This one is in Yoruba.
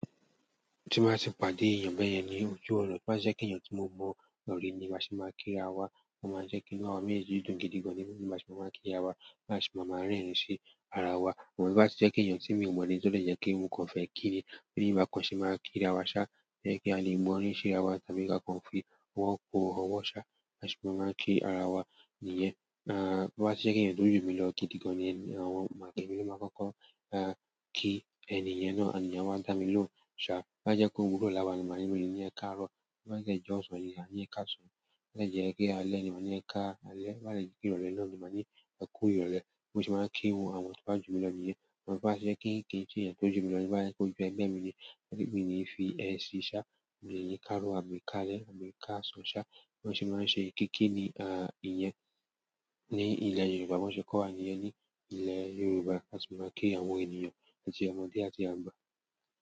Tí n bá ti pàdé èyàn bẹ́ yẹ ni ojú ọ̀nà tí o bá jẹ́ pé èyàn tí mo mo rí ni a ṣe má kí ra wa o má jẹ́ kí inú àwa méjèjì dùn gidigan ni a ṣe má kí ra wa a ṣe má rẹ́rìn sí ra wa to bá ti jẹ́ pé èyàn tí mi ò mọ̀ ni tó dé pé mo kọ́ fẹ́ kí ni, bí ì bá kàn ṣe máa kí ara wa ṣá, jẹ́ kí a lè gbọ́n rí sí ara wa, tàbí kí a kàn fi ọwọ́ pò ọwọ́ ṣá, bá ṣe má kí ara wa nìyẹn. Tó bá jẹ́ pé èyàn tó jù mí lọ gidi gan ni àwọn èmi ló máa kọ́kọ́ kí ẹniyen náà, ànd then wá dá mi lóhùn ṣá, tó bá jẹ́ pé òwúrọ̀ láwa, màá ní mo lè ni ẹ káàárọ̀, tó bá dé jẹ́ jọ̀sàn ni màá ní ẹ káàsán, bá jẹ́ pé ále ni màá ní ẹ káalẹ́, tó bá dé jẹ́ ìrọ̀lẹ́ náà ni màá ní ẹ kú ìrọ̀lẹ́. Bó ṣe máa ń kí àwọn tó bá jù mí lọ nìyẹn. But bá ṣe kí ń kí ṣe èyàn tó jù mí lọ ní bá jẹ́ kó jù ẹgbẹ́ mi ni, èmi ni fi ẹ sí í ṣá, mò lè ní káàrọ̀, àbí kẹ́ à lẹ́, àbí káàsán ṣá. Wọ́n ṣe máa ń ṣe kìkì nìyẹn ní ilẹ̀ Yorùbá, bó ṣe kó wa nìyẹn ní ilẹ̀ Yorùbá, láti máa kí àwọn ènìyàn àti ọmọdé àti àgbà.